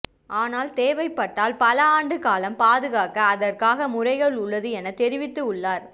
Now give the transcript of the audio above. ஆனால் தேவைப்பட்டால் பல ஆண்டு காலம் பாதுகாக்க அதற்காக முறைகள் உள்ளது என தெரிவித்து உள்ளார்